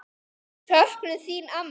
Söknum þín, amma.